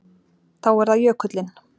Þá er það jökullinn.